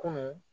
Kunun